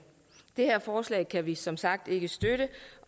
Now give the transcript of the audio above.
her forslag kan vi som sagt ikke støtte